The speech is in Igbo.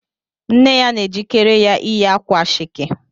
Nne ya na-ejikere ya ịyị akwa ashake